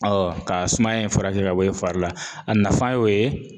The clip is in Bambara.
ka sumaya in furakɛ ka bɔ yen fari la a nafa y'o ye